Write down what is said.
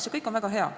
See kõik on väga hea.